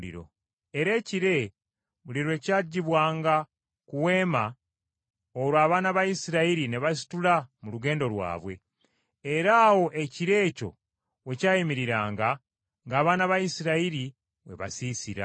Era ekire buli lwe kyaggyibwanga ku Weema, olwo abaana ba Isirayiri ne basitula mu lugendo lwabwe; era awo ekire ekyo we kyayimiriranga, nga n’abaana ba Isirayiri we basiisira.